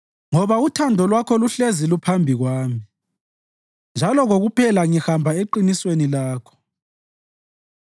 ngoba uthando Lwakho luhlezi luphambi kwami, njalo kokuphela ngihamba eqinisweni Lakho.